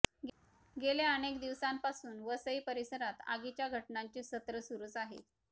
गेल्या अनेक दिवसांपासून वसई परिसरात आगीच्या घटनांचे सत्र सुरूच आहे